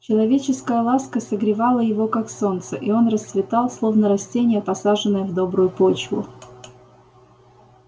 человеческая ласка согревала его как солнце и он расцветал словно растение посаженное в добрую почву